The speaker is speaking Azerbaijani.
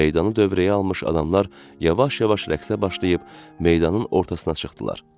Və meydanı dövrəyə almış adamlar yavaş-yavaş rəqsə başlayıb meydanın ortasına çıxdılar.